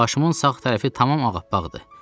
Başımın sağ tərəfi tamam ağappaqdır.